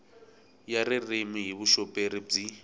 ya ririmi hi vuxoperi byi